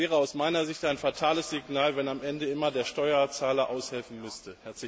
Es wäre aus meiner Sicht ein fatales Signal, wenn am Ende immer der Steuerzahler aushelfen müsste.